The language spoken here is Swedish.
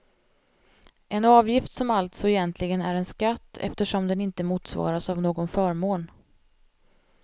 En avgift som alltså egentligen är en skatt eftersom den inte motsvaras av någon förmån.